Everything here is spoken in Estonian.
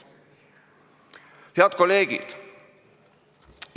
Head kolleegid!